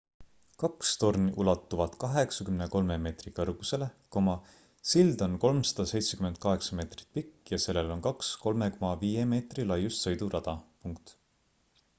kaks torni ulatuvad 83 meetri kõrgusele sild on 378 meetrit pikk ja sellel on kaks 3,5 meetri laiust sõidurada